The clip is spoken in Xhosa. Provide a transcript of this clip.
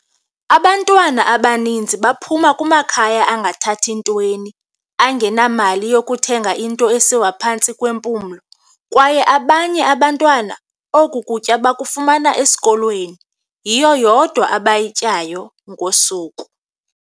"Abantwana abaninzi baphuma kumakhaya angathathi ntweni, angenamali yokuthenga into esiwa phantsi kwempumlo, kwaye abanye abantwana oku kutya bakufumana esikolweni, yiyo yodwa abayityayo ngosuku."